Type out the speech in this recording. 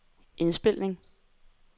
indspilning